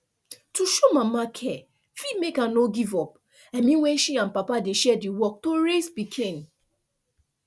to show mama care fit make her no give up i mean when she and papa dey share the work to raise pikin